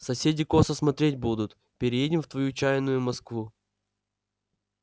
соседи косо смотреть будут переедем в твою чаянную москву